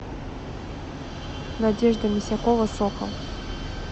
надежда мисякова сокал